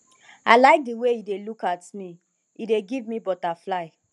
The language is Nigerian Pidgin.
i like the way he dey look at me he dey give me butterfly